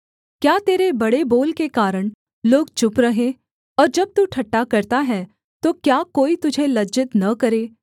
क्या तेरे बड़े बोल के कारण लोग चुप रहें और जब तू ठट्ठा करता है तो क्या कोई तुझे लज्जित न करे